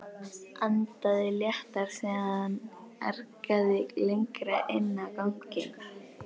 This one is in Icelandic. Andaði léttar þegar hann arkaði lengra inn á ganginn.